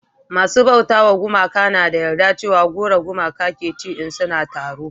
masu bauta ma gumaka na da yarda cewa goro gumakai ke ci in suna taro